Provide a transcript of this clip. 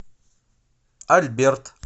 альберт